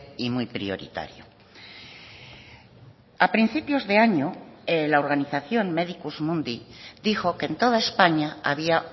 y muy prioritario a principios de año la organización medicus mundi dijo que en toda españa había